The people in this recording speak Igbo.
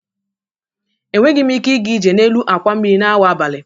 Enweghị m ike ịga ije n'elu àkwà mmiri n'awa abalị